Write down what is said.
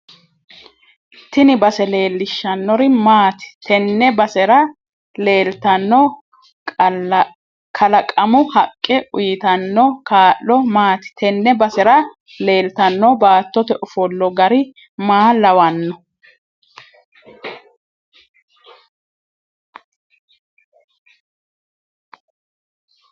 Tini base leelishannori maaati tenne basera leeltanno qalaqamu haqqe uyiitanno kaa'lo maati tene basera leeltanno baattote ofolla gari maa lawanno